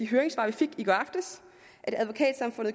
høringssvar vi fik i går aftes